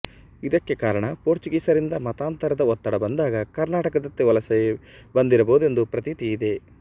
ಇದಕ್ಕೆ ಕಾರಣ ಪೋರ್ಚುಗೀಸರಿಂದ ಮತಾಂತರದ ಒತ್ತಡ ಬಂದಾಗ ಕರ್ನಾಟಕದತ್ತ ವಲಸೆ ಬಂದಿರಬಹುದೆಂದು ಪ್ರತೀತಿ ಇದೆ